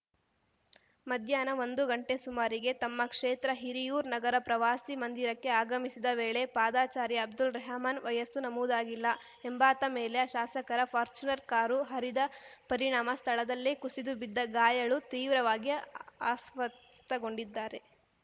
ಮಧ್ಯಾಹ್ನ ಒಂದು ಗಂಟೆ ಸುಮಾರಿಗೆ ತಮ್ಮ ಕ್ಷೇತ್ರ ಹಿರಿಯೂರು ನಗರದ ಪ್ರವಾಸಿ ಮಂದಿರಕ್ಕೆ ಆಗಮಿಸಿದ ವೇಳೆ ಪಾದಚಾರಿ ಅಬ್ದುಲ್‌ರೆಹಮಾನ್‌ ವಯಸ್ಸು ನಮೂದಾಗಿಲ್ಲ ಎಂಬಾತ ಮೇಲೆ ಶಾಸಕರ ಫಾರ್ಚೂನರ್‌ ಕಾರು ಹರಿದ ಪರಿಣಾಮ ಸ್ಥಳದಲ್ಲೇ ಕುಸಿದು ಬಿದ್ದ ಗಾಯಾಳು ತೀವ್ರವಾಗಿ ಅಸ್ವಸ್ಥಗೊಂಡಿದ್ದಾರೆ